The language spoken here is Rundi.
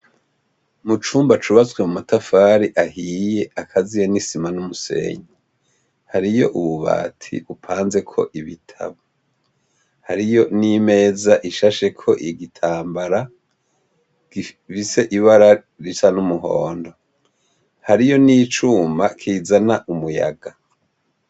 Mucumba cubatse n'amatafari ahiye n'umusenyi, hariyo ububati bupanzeko ibitabo hariyo n'imeza ishasheko ibigitambara gifise ibara risa numuhondo, hariyo nicuma kizana umuyaga.